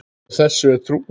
Og þessu er trúað.